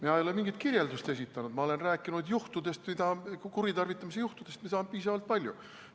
Mina ei ole mingeid kirjeldusi esitanud, ma olen rääkinud kuritarvitamise juhtudest, mida on piisavalt palju.